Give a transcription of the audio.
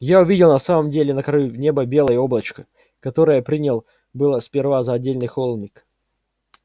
я увидел в самом деле на краю неба белое облачко которое принял было сперва за отдалённый холмик